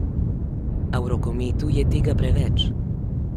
A v rokometu je tega preveč.